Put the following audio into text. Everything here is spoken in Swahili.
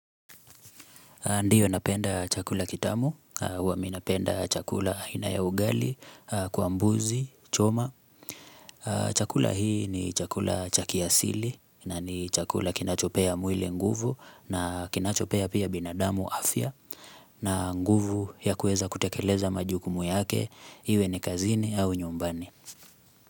Ndiyo napenda chakula kitamu, huwa mimi napenda chakula aina ya ugali, kwa mbuzi choma. Chakula hii ni chakula cha kiasili na ni chakula kinachopea mwili nguvu na kinachopea pia binadamu afya na nguvu ya kueza kutekeleza majukumu yake, iwe ni kazini au nyumbani.